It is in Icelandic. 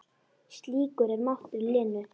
Slíkur er máttur Lenu.